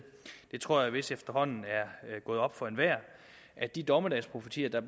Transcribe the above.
jeg tror det vist efterhånden er gået op for enhver at de dommedagsprofetier der